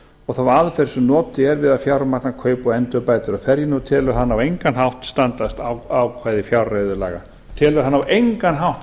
og þá aðferð sem notuð er við að fjármagna kaup og endurbætur á ferjunni og telur hana á engan hátt